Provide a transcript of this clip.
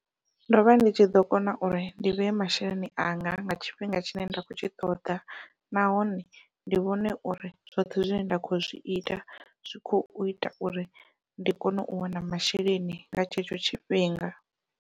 Ndovha ndi tshi ḓo kona uri ndi vhee masheleni anga nga tshifhinga tshine nda khou tshi ṱoḓa nahone ndi vhone uri zwoṱhe zwine nda kho zwi ita zwi khou ita uri ndi kone u wana masheleni nga tshetsho tshifhinga.